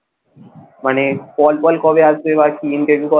মানে call টল কবে আসবে, বা কি interview কবে হবে?